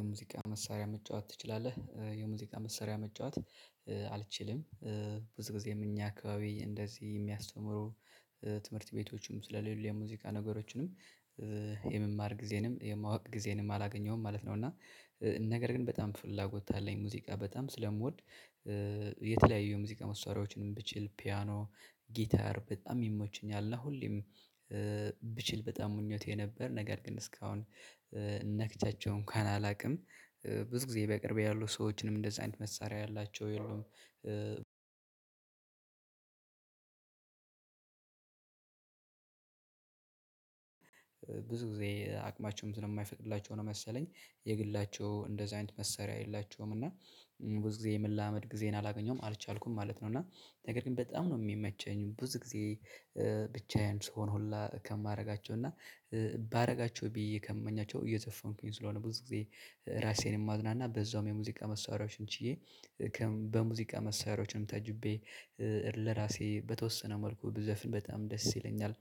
የሙዚቃ መሳሪያ መጫወት ትችላለህ? የሙዚቃ መሳሪያ መጫወት አልችልም። ብዙ ጊዜም እኛ አካባቢ እንደዚህ የሚያስተምሩ ትምህርት ቤቶችም ስለሌሉ የሙዚቃ ነገሮቹንም የመማር ጊዜንም የማወቅ ጊዜንም አላገኘሁም ማለት ነው። እና ነገር ግን በጣም ፍላጎት አለኝ ሙዚቃ በጣም ስለምወድ የተለያዩ የሙዚቃ መሳሪያዎችንም ብችል ፒያኖ ጊታር በጣም ይመቹኛል እና ሁሌም ብችል በጣም ምኞቴ ነበር ነገር ግን እስካሁን ነክቻቸው እንኳን አላውቅም። ብዙ ጊዜ በቅርቤ ያሉ ሰዎችንም እንደዚህ አይነት መሳሪያ ያላቸው አንድ ብዙ ጊዜ አቅማቸውም ስለማይፈቅድላቸው ነው መሰለኝ የግላቸው እንደዚህ አይነት መሳሪያ የላቸውም። እና ብዙ ጊዜ የመላመድ ጊዜን አላገኘሁም አልቻልኩም ማለት ነው። እና ነገር ግን በጣም ነው የሚመቸኝ ብዙ ጊዜ ብቻዬን ስሆን ሁላ ከማደርጋቸው እና ባደርጋቸው ብዬ ከምመኛቸው እየዘፈንኩኝ ስለሆነ ብዙ ጊዜ ራሴን ማዝናና በዛውም የሙዚቃ መሳሪያዎችን ችዬ በሙዚቃ መሳሪያዎችም ታጅቤ ለራሴ በተወሰነ መልኩ ብዘፍን በጣም ደስ ይለኛል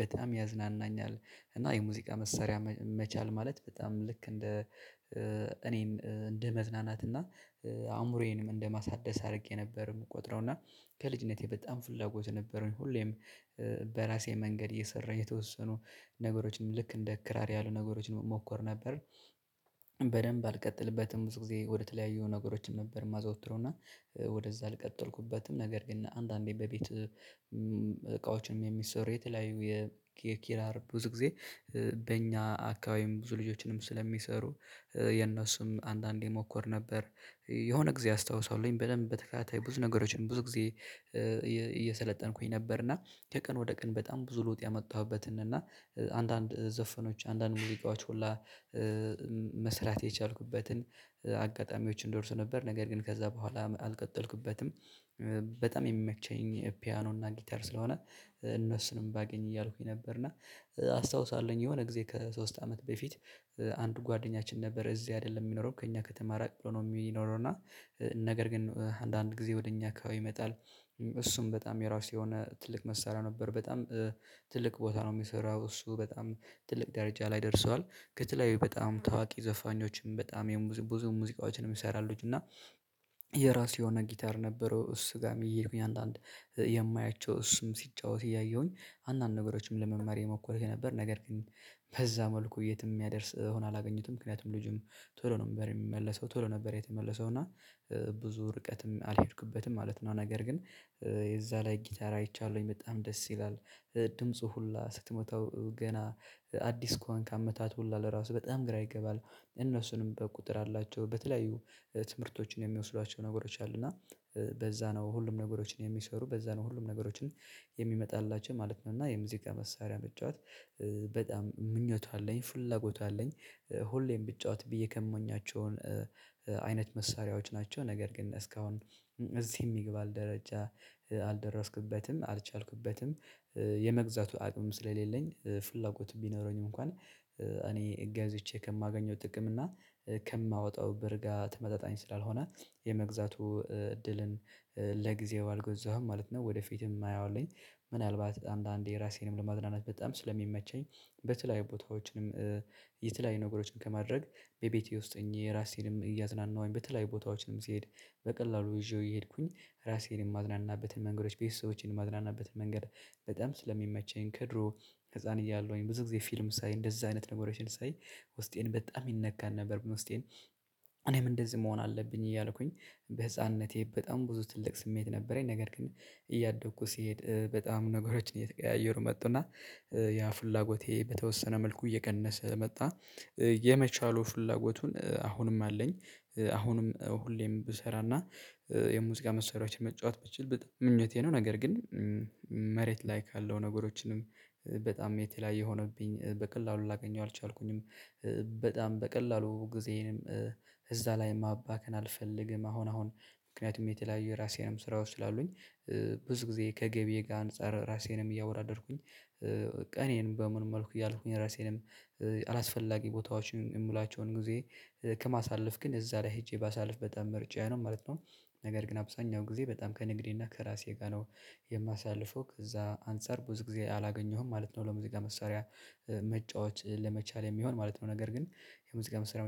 በጣም ያዝናናኛል። እና የሙዚቃ መሳሪያ መቻል ማለት በጣም ልክ እንደ እኔም እንደ መዝናናት እና አእምሮዬንም እንደ ማሳደስ አድርጌ ነበር የምቆጥረው እና ከልጅነቴ በጣም ፍላጎት የነበረኝ ሁሌም በራሴ መንገድ እየሰራሁ የተወሰኑ ነገሮችንም ልክ እንደ ክራር ያሉ ነገሮችን እሞክር ነበር። በደንብ አልቀጥልበትም ብዙ ጊዜ ወደተለያዩ ነገሮችም ነበር የማዘወትረውና ወደዛ አልቀጠልኩበትም ነገር ግን አንዳንዴ በቤት እቃዎችንም የሚሰሩ የተለያዩ የኪራር ብዙ ጊዜ በእኛ አካባቢም ብዙ ልጆችንም ስለሚሰሩ የነሱም አንዳንዴ እሞክር ነበር የሆነ ጊዜ አስታውሳለሁኝ በደንብ በተከታታይ ብዙ ነገሮችን ብዙ ጊዜ እየሰለጠንኩኝ ነበር እና ከቀን ወደ ቀን በጣም ብዙ ለዉጥ ያመጣሁበትን እና አንዳንድ ዘፈኖች አንዳንድ ሙዚቃዎች ሁላ መስራት የቻልኩበትን አጋጣሚዎችን ደርሶ ነበር። ነገር ግን ከዛ በኋላ አልቀጠልኩበትም በጣም የሚመቸኝ ፒያኖ እና ጊታር ስለሆነ እነሱንም ባገኝ እያልኩኝ ነበር እና አስታውሳለሁኝ የሆነ ጊዜ ከሶስት አመት በፊት አንድ ጓደኛችን ነበር እዚህ አይደለም የሚኖረው ከእኛ ከተማ ራቅ ብሎ ነው የሚኖረው እና ነገር ግን አንዳንድ ጊዜ ወደ እኛ አካባቢ ይመጣል እሱም በጣም የራሱ የሆነ ትልቅ መሳሪያ ነበረው በጣም ትልቅ ቦታ ነው የሚሰራው። እሱ በጣም ትልቅ ደረጃ ላይ ደርሷል። ከተለያዩ በጣም ታዋቂ ዘፋኞችም በጣም ብዙ ሙዚቃዎችንም ይሰራል እና የራሱ የሆነ ጊታር ነበረው። እሱ ጋር እየሄድኩኝ አንዳንድ የማያቸው እሱም ሲጫወት እያየሁኝ አንዳንድ ነገሮችም ለመማር እየሞከርኩ ነበር። ነገር ግን በዛ መልኩ የትም የሚያደርስ ሆኖ አላገኘሁትም ምክንያቱም ልጁም ቶሎ ነበር የሚመለሰው ቶሎ ነበር የተመለሰው እና ብዙ ርቀትም አልሄድኩበትም ማለት ነው። ነገር ግን የዛ ላይ ጊታር አይቻለሁኝ በጣም ደስ ይላል። ድምፁ ሁላ ስትሞታው ገና አዲስ ከሆንክ አመታት ሁሉ ለራሱ በጣም ግራ ይገባል እነሱንም በቁጥር አላቸው። በተለያዩ ትምህርቶችን የሚወስዷቸው ነገሮች አሉ እና ነው ሁሉም ነገሮችን የሚሰሩ። በዛ ነው ሁሉም ነገሮችን የሚመጣላቸው ማለት ነው እና የሙዚቃ መሳሪያ መጫወት በጣም ምኞቱ አለኝ። ፍላጎቱ አለኝ ሁሌም ብጫወት ብዬ ከምመኛቸውን መሳሪያዎች ናቸው ነገር ግን እስካሁን እዚህ የሚባል ደረጃ አልደረስኩበትም አልቻልኩበትም የመግዛቱ አቅም ስለሌለኝ ፍላጎት ቢኖረኝም እንኳን እኔ ገዝቼ ከማገኘው ጥቅም እና ከማወጣው ብር ጋር ተመጣጣኝ ስላልሆነ የመግዛቱ እድልን ለጊዜው አልገዛሁም ማለት ነው። ወደፊትም የማየው አለኝ። ምናልባት አንዳንዴ ራሴንም ለማዝናናት በጣም ስለሚመቸኝ በተለያዩ ቦታዎችንም የተለያዩ ነገሮችን ከማድረግ በቤቴ ውስጥ እኔ ራሴንም እያዝናናሁኝ በተለያዩ ቦታዎችንም ስሄድ በቀላሉ ይዤው የሄድኩኝ ራሴን የማዝናናበትን መንገዶች ቤተሰቦችን የማዝናናበትን መንገድ በጣም ስለሚመቸኝ ከድሮ ህፃን እያለሁኝ ብዙ ጊዜ ፊልም ሳይ እንደዛ አይነት ነገሮችን ሳይ ውስጤን በጣም ይነካ ነበር። ውስጤን እኔም እንደዚህ መሆን አለብኝ እያልኩኝ በህፃንነቴ በጣም ብዙ ትልቅ ስሜት ነበረኝ። ነገር ግን እያደግኩ ሲሄድ በጣም ነገሮችን እየተቀያየሩ መጡና ያ ፍላጎቴ በተወሰነ መልኩ እየቀነሰ መጣ የመቻሉ ፍላጎቱን አሁንም አለኝ። አሁንም ሁሌም ብሰራና የሙዚቃ መስሪያዎችን መጫወት ብችል በጣም ምኞቴ ነው። ነገር ግን መሬት ላይ ካለው ነገሮችንም በጣም የተለያየ ሆነብኝ በቀላሉ ላገኘው አልቻልኩኝም። በቀላሉ ጊዜም እዛ ላይም ማባከን አልፈልግም አሁን አሁን ምክንያቱም የተለያየ የራሴም ስራዎች ስላሉኝ ብዙ ጊዜ ከገቢዬ ጋር አንፃር ራሴንም እያወራደርኩኝ እኔንም መልኩ እያልኩኝ ራሴንም አላስፈላጊ ቦታዎችን የምላቸውን ጊዜ ከማሳለፍ ግን እዛ ላይ ሄጄ ባሳልፍ በጣም ምርጫዬ ነው ማለት ነው። ነገር ግን አብዛኛው ጊዜ በጣም ከንግዴና ከራሴ ጋር ነው የማሳልፈው ከዛ አንፃር ብዙ ጊዜ አላገኘሁም ማለት ነው። ለሙዚቃ መስሪያ መጫወት ለመቻል የሚሆን ማለት ነው ነገር ግን የሙዚቃ መሳሪያ